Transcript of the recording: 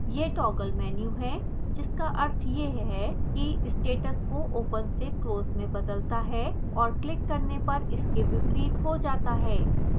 यह toggle menu है जिसका अर्थ है यह है कि status को open से close में बदलता है और clicked करने पर इसके विपरीत हो जाता है